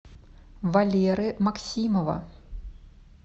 валеры максимова